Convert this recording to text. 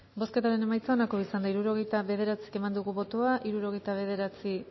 bozketaren emaitza onako izan da hirurogeita bederatzi eman dugu bozka hirurogeita bederatzi